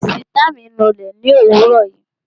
Sìtá mi nu ilé ni òwúrò yìí